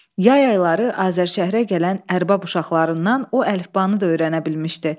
Yay ayları Azərşəhərə gələn ərbab uşaqlarından o əlifbanı da öyrənə bilmişdi.